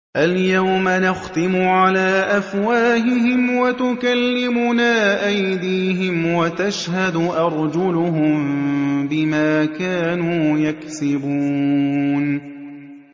الْيَوْمَ نَخْتِمُ عَلَىٰ أَفْوَاهِهِمْ وَتُكَلِّمُنَا أَيْدِيهِمْ وَتَشْهَدُ أَرْجُلُهُم بِمَا كَانُوا يَكْسِبُونَ